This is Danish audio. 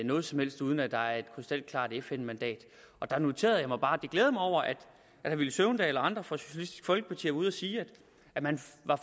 noget som helst uden at der var et krystalklart fn mandat der noterede jeg mig bare og glædede mig over at herre villy søvndal og andre fra socialistisk folkeparti ude at sige at man